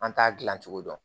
An t'a dilan cogo dɔn